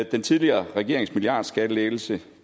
den tidligere regerings milliardskattelettelse